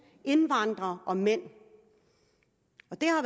indvandrere og mænd det